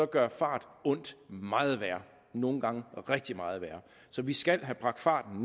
gør fart ondt meget værre nogle gange rigtig meget værre så vi skal have bragt farten